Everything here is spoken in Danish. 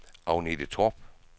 Agnete Torp